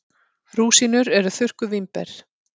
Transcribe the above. Rúsínur eru þurrkuð vínber.